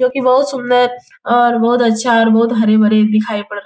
जो की बहुत सुन्दर और बहुत अच्छा और बहुत हरे-भरी दिखाई पड़ --